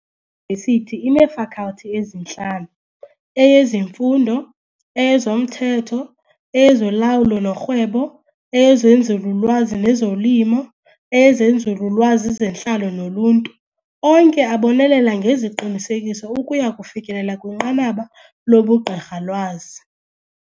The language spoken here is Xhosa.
vesithi ineeFalkhalthi ezintlanu, eyezeMfundo, eyezoMthetho, eyezoLawulo noRhwebo, eyezNzululwazi nezoLimo, eyezeNzululwazi zeNtlalo noLuntu, onke abonelela ngeziqinisekiso ukuya kufikelela kwinqanaba lobuGqirhalwazi.